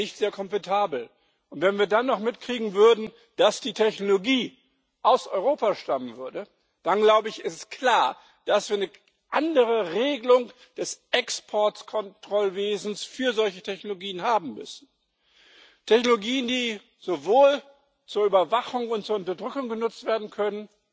Ich glaube, nicht sehr komfortabel, und wenn wir dann noch mitkriegen würden, dass die Technologie aus Europa stammen würde, dann glaube ich, ist es klar, dass wir eine andere Regelung des Exportkontrollwesens für solche Technologien haben müssen. Technologien, die zur Überwachung und zur Unterdrückung genutzt werden können,